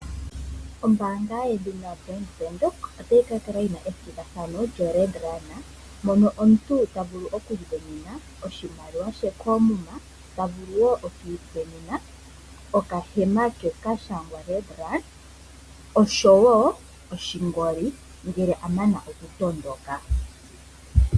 Ombaanga yedhina Bank Windhoek otayi ka kala yi na ethigathano lyoRed Run moka omuntu ta vulu okuisindanena oshimaliwa she koomuma ta vulu wo oku isindanena okahema ke ka shangwa Red run oshowo oshingoli ngele a mana okutondoka.